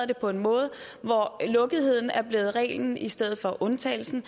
det på en måde hvor lukketheden er blevet reglen i stedet for undtagelsen og